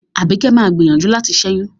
Àbíkẹ́ má a gbìyànjú láti ṣẹ́yún.